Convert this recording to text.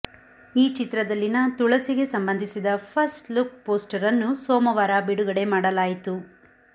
ಈ ಚಿತ್ರದಲ್ಲಿನ ತುಳಸಿಗೆ ಸಂಬಂಧಿಸಿದ ಫಸ್ಟ್ ಲುಕ್ ಪೋಸ್ಟರನ್ನು ಸೋಮವಾರ ಬಿಡುಗಡೆ ಮಾಡಲಾಯಿತು